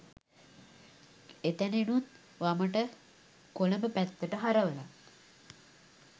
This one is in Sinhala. එතැනිනුත් වමට කොළඹ පැත්තටහරවලා